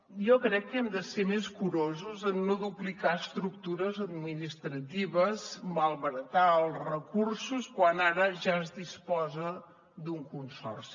jo crec que hem de ser més curosos en no duplicar estructures administratives malbaratar els recursos quan ara ja es disposa d’un consorci